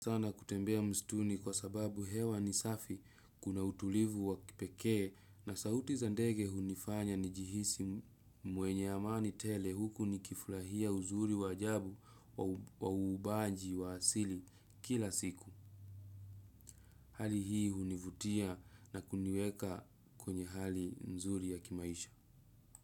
Sana kutembea mstuni kwa sababu hewa ni safi, kuna utulivu wa kipekee na sauti za ndege hunifanya nijihisi mwenye amani tele huku ni kifurahia uzuri wa ajabu wa huumbaji wa asili kila siku. Hali hii hunivutia na kuniweka kwenye hali nzuri ya kimaisha.